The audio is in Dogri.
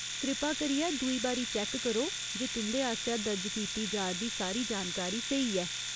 कृपा करियै दूई बारी चैक्क करो जे तुं'दे आसेआ दर्ज कीती जा'रदी सारी जानकारी स्हेई ऐ।